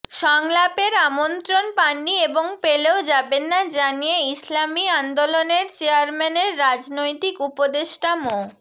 সংলাপের আমন্ত্রণ পাননি এবং পেলেও যাবেন না জানিয়ে ইসলামী আন্দোলনের চেয়ারম্যানের রাজনৈতিক উপদেষ্টা মো